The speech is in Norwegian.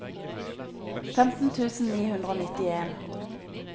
femten tusen ni hundre og nittien